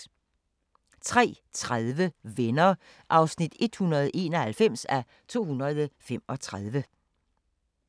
03:30: Venner (191:235)